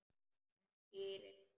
En dýrin?